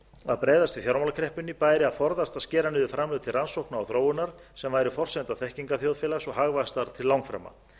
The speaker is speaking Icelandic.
að bregðast við fjármálakreppunni bæri að forðast að skera niður framlög til rannsókna og þróunar sem væru forsenda þekkingarþjóðfélags og hagvaxtar til langframa